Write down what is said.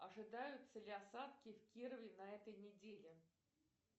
ожидаются ли осадки в кирове на этой неделе